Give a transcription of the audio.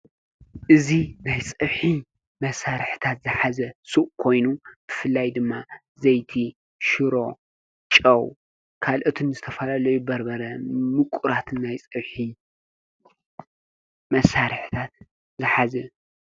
እዙ ናይ ጸውኂ መሣርሕታት ዝሓዘ ሱእ ኮይኑ ብፍላይ ድማ ዘይቲ ፣ሽሮ ፣ ጨው ካልእቱን ዝተፋላለዩ በርበረ ምቊራት ናይ ጸብ መሣርሕታት ዝኃዘ እዩ።